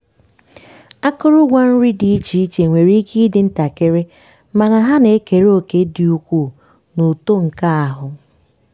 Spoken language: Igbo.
akụrụngwa nri di iche iche nwere ike ịdị ntakịrị mana ha na-ekere òkè dị ukwuu n’uto nke ahụ